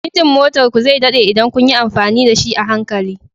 Injin motar ku zai daɗe idan kun yi amfani da shi a hankali